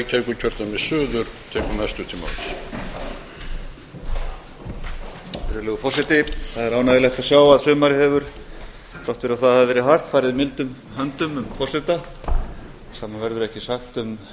virðulegur forseti það er ánægjulegt að sjá að sumarið hefur þrátt fyrir að það hafi verið hart farið mildum höndum um forseta sama verður ekki sagt um